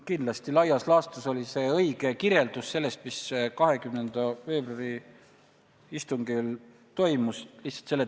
Kindlasti oli see laias laastus õige kirjeldus sellest, mis 20. veebruari istungil toimus.